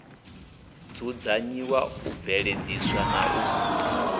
dzudzanyiwa u bveledziswa na u